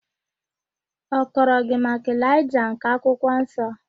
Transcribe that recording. Ọ kọrọ gị maka Elaịja nke akwụkwọ nsọ?